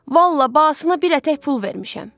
Vallah, basına bir ətək pul vermişəm.